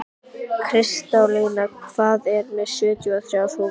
Kristólína, ég kom með sjötíu og þrjár húfur!